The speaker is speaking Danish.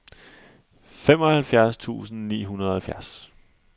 femoghalvfjerds tusind ni hundrede og halvfjerds